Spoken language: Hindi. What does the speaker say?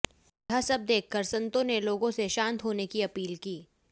यह सब देखकर संतों ने लोगों से शांत होने की अपील की